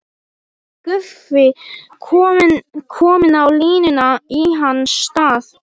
Guffi kominn á línuna í hans stað!